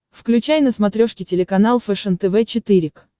включай на смотрешке телеканал фэшен тв четыре к